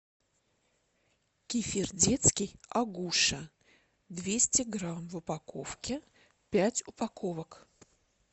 кефир детский агуша двести грамм в упаковке пять упаковок